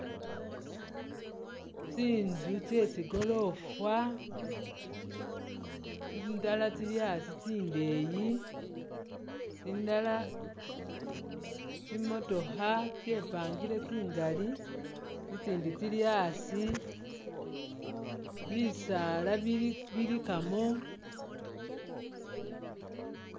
Tsinzu tsye tsigoroofa tsindala tsili asi tsindeyi ,tsindala tsimotookha tsyepangile tsingali tsitsindi tsili asi ,bisaala bili bilikamo